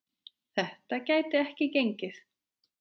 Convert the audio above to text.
Þetta gæti ekki gengið.